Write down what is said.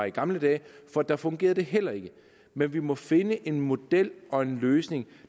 i gamle dage for da fungerede det heller ikke men vi må finde en model og en løsning